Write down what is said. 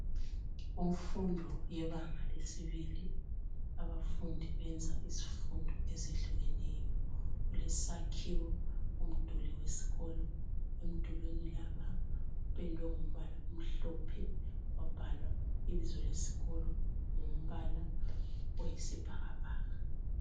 Kumfundo yebanga lesibili abafundi benza izifundo ezehlukeneyo. Kulesakhiwo umduli wesikolo emdulwini lapha kupendwe ngombala omhlophe kwabhalwa ibizo lesikolo ngombala oyisibhakabhaka.